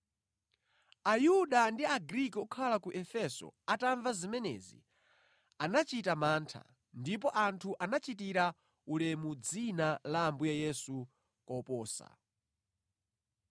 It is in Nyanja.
Ayuda ndi Agriki okhala ku Efeso atamva zimenezi, anachita mantha, ndipo anthu anachitira ulemu dzina la Ambuye Yesu koposa.